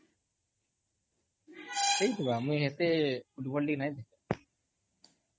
ଲାଗ୍ସି ନି କେଁ? ଭଲ ଖେଲସି ବି